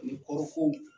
Ani kɔɔri ko